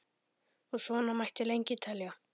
Og svona mætti lengi telja.